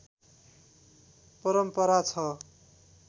परम्परा छ